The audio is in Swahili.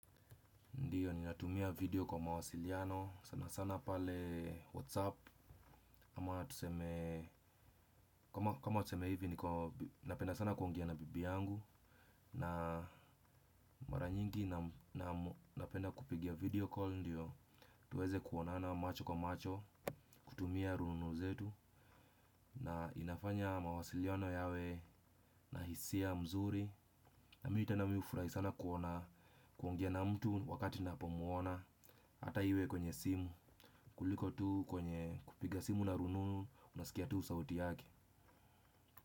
Ndiyo, ninatumia video kwa mawasiliano, sana sana pale whatsappu, ama tuseme, kama tuseme hivi niko napenda sana kuongea na bibi yangu. Na mara nyingi napenda kupigia video ndio, tuweze kuonana macho kwa macho, kutumia rununu zetu. Na inafanya mawasiliano yawe na hisia nzuri, na mimi tena mimi hufurahi sana kuona kuongea na mtu wakati napo mwona hata iwe kwenye simu. Kuliko tu kwenye kupiga simu na rununu. Unasikia tu sauti yake.